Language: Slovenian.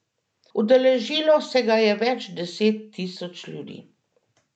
Udeležilo se ga je več deset tisoč ljudi.